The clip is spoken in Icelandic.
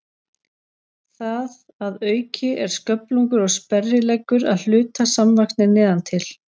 Það að auki er sköflungur og sperrileggur að hluta samvaxnir neðan til.